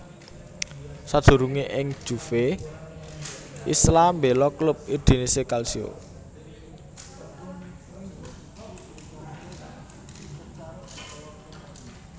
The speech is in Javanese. Sadurungé ing Juve Isla mbéla klub Udinese Calcio